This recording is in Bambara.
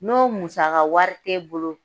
N'o musaka wari tɛ e bolo